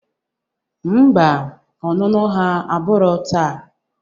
Ḿbà, ọnụnụ ha abụro taa